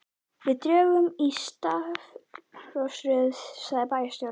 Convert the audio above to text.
Við drögum í stafrófsröð sagði bæjarstjórinn.